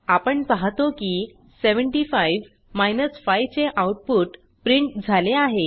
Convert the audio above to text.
आपण पाहतो की 75 5 चे आउटपुट प्रिंट झाले आहे